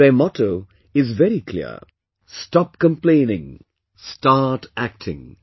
Their motto is very clear 'Stop Complaining, Start Acting'